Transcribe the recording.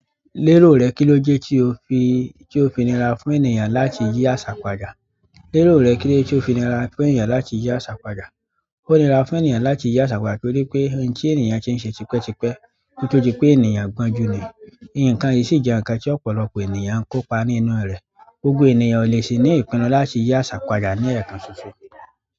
Lérò rẹ̀, kíló jẹ́ tí ó fi níra fún ènìyàn láti yí àṣà padà? Lérò rẹ̀, kíló jẹ́ tí ó fi níra fún ènìyàn láti yí àṣà padà? Onira fún ènìyàn láti yi asa padà nitoripe nti ènìyàn ti n se tipe tipe ko to dipe ènìyàn gbonju ni ìǹkan yìí sì jẹ́ ǹkan tí ọ̀pọ̀lọpọ̀ ènìyàn ń kópa nínú rẹ̀. Gbógbó ènìyàn ò le ṣi ní ìpinnu láti yí aṣa padà ní ẹ̀ẹ̀kan ṣoṣo.